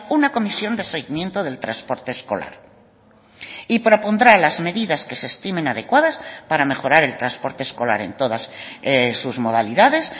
una comisión de seguimiento del transporte escolar y propondrá las medidas que se estimen adecuadas para mejorar el transporte escolar en todas sus modalidades